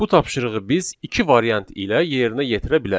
Bu tapşırığı biz iki variant ilə yerinə yetirə bilərik.